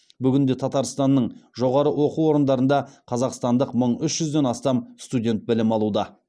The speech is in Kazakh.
бүгінде татарстанның жоғары оқу орындарында қазақстандық мың үш жүзден астам студент білім алуда